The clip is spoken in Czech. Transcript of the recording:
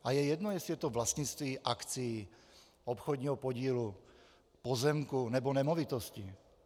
A je jedno, jestli je to vlastnictví akcí, obchodního podílu, pozemku nebo nemovitostí.